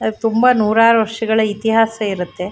ಅದು ತುಂಬಾ ನೂರಾರು ವರ್ಷಗಳ ಇತಿಹಾಸ ಇರುತ್ತೆ.